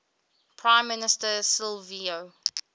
prime minister silvio